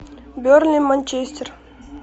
бернли манчестер